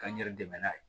Ka n yɛrɛ dɛmɛ n'a ye